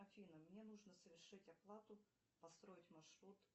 афина мне нужно совершить оплату построить маршрут